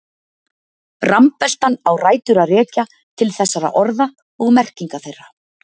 Rambeltan á rætur að rekja til þessara orða og merkinga þeirra.